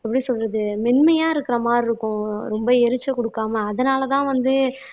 எப்படி சொல்றது மென்மையா இருக்கிற மாதிரி இருக்கும் ரொம்ப எரிச்சல் கொடுக்காம அதனாலதான் வந்து